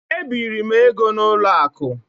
E biri m ego n'ụlọ akụ.